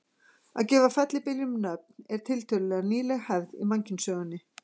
Að gefa fellibyljum nöfn er tiltölulega nýleg hefð í mannkynssögunni.